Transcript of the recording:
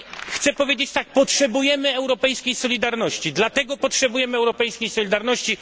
Chcę powiedzieć tak potrzebujemy europejskiej solidarności, dlatego potrzebujemy europejskiej solidarności.